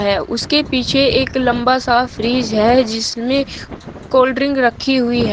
है उसके पीछे एक लंबा सा फ्रिज है जिसमें कोल्डड्रिंक रखी हुई है।